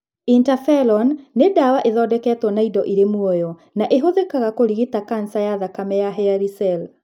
Interferon nĩ ndawa ĩthondeketwo na indo irĩ muoyo na ĩhũthĩkaga kũrigita kanca ya thakame ya hairy cell.